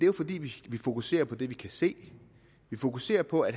jo fordi vi fokuserer på det vi kan se vi fokuserer på at